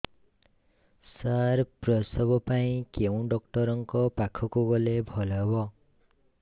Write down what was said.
ସାର ପ୍ରସବ ପାଇଁ କେଉଁ ଡକ୍ଟର ଙ୍କ ପାଖକୁ ଗଲେ ଭଲ ହେବ